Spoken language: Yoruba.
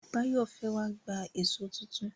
Báyọ̀ fẹ́ wá gba èṣó tuntun.